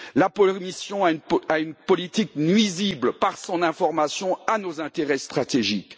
La Commission a une politique nuisible, par son information, à nos intérêts stratégiques.